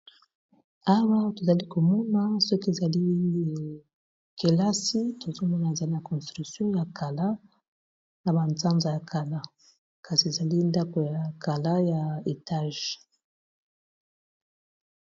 Awa tozali komona soki ezali ekelasi tozomona ezali na construction ya kala na banzanza ya kala kasi ezali ndako ya kala ya etage.